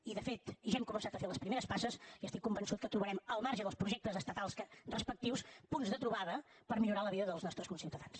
i de fet ja hem començat a fer les primeres passes i estic convençut que trobarem al marge dels projectes estatals respectius punts de trobada per millorar la vida dels nostres conciutadans